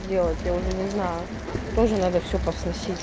сделать я уже не знаю тоже надо все посносить